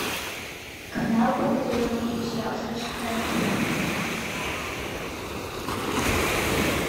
канал по которому идет сериал саша таня